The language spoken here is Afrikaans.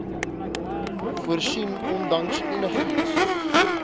voorsien ondanks enigiets